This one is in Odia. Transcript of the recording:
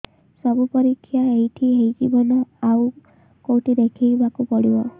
ସବୁ ପରୀକ୍ଷା ଏଇଠି ହେଇଯିବ ନା ଆଉ କଉଠି ଦେଖେଇ ବାକୁ ପଡ଼ିବ